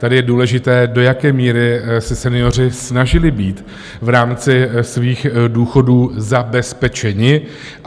Tady je důležité, do jaké míry se senioři snažili být v rámci svých důchodů zabezpečeni.